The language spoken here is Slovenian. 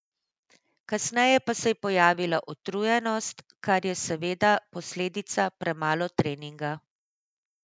Kasneje pa se je pojavila utrujenost, kar je seveda posledica premalo treninga.